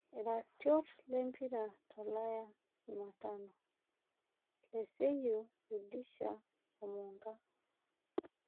Iratiot lempira tolaya Jumatano; leseyio, rudisha oo Mnka